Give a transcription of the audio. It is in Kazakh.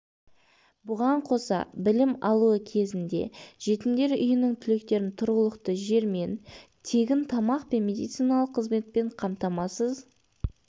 бұған қоса білім алуы кезінде жетімдер үйінің түлектерін тұрғылықты жермен тегін тамақ пен медициналық қызметпен қамтамасыз